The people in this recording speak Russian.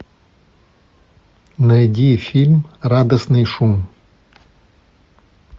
найди фильм радостный шум